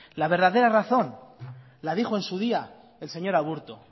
la verdadera razón la dijo en su día el señor aburto